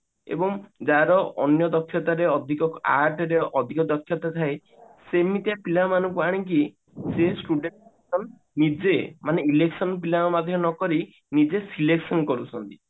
ଏବଂ ଯାହାର ଅନ୍ୟ ଦକ୍ଷତା ଅଧିକ art ରେ ଅଧିକ ଦକ୍ଷତା ଥାଏ ସେମିତିଆ ପିଲାମାନଙ୍କୁ ଆଣିକି ସେ student ଙ୍କ ନିଜେ ମାନେ election ପିଲାଙ୍କ ମଧ୍ୟରେ ନକରି ନିଜେ selection କରୁଛନ୍ତି